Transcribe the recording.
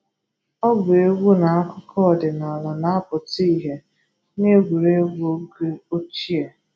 Ọ bụ egwu na akụkọ ọdịnala na-apụta ìhè n'egwuregwu oge ochie.